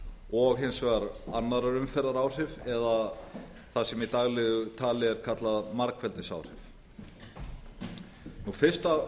og hins vegar annarrar umferðar áhrif eða það sem í daglegu tali er kallað margfeldisáhrif fyrstu